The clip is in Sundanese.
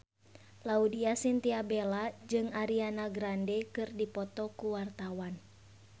Laudya Chintya Bella jeung Ariana Grande keur dipoto ku wartawan